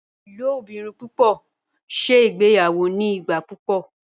ilobirin pupọ ṣe ìgbéyàwó ní igbà púpọ